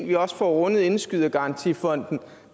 vi også får rundet indskydergarantifonden